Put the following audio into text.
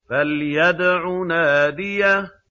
فَلْيَدْعُ نَادِيَهُ